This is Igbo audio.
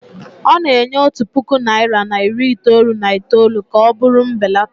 ọ na-enye otu puku naịra na iri itoolu na itoolu ka ọ bụrụ mbelata